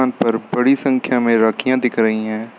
यहां पर बड़ी संख्या में राखियां दिख रही हैं।